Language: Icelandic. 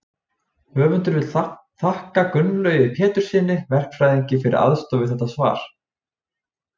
Höfundur vill þakka Gunnlaugi Péturssyni verkfræðingi fyrir aðstoð við þetta svar.